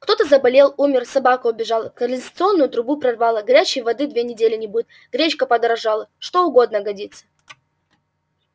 кто-то заболел умер собака убежала канализационную трубу прорвало горячей воды две недели не будет гречка подорожала что угодно годится